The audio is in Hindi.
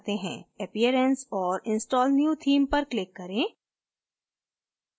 appearance और install new theme पर click करें